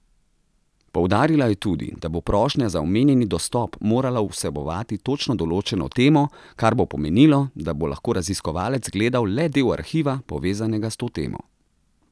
Poudarila je tudi, da bo prošnja za omenjeni dostop morala vsebovati točno določeno temo, kar bo pomenilo, da bo lahko raziskovalec gledal le del arhiva, povezanega s to temo.